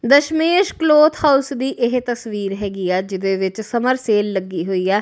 Dashmesh cloth house ਦੀ ਇਹ ਤਸਵੀਰ ਹੈਗੀ ਆ ਜਿਹਦੇ ਵਿੱਚ ਸਮਰ ਸੇਲ ਲੱਗੀ ਹੋਈ ਹੈ।